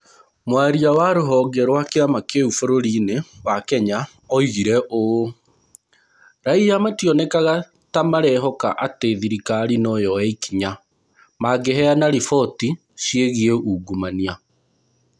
Mwaria wa rũhonge rwa kĩama kĩu bũrũri-inĩ wa Kenya, oigire ũũ: “Raiya mationekaga ta marehoka atĩ thirikari no yoe ikinya mangĩheana riboti ciĩgiĩ ungumania.”